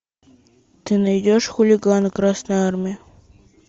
ты найдешь хулиганы красной армии